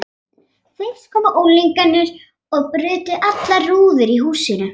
Fyrst komu unglingar og brutu allar rúður í húsinu.